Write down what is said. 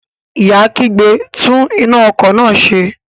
Ìyá kígbe, "tún iná ọkọ̀ náà ṣe".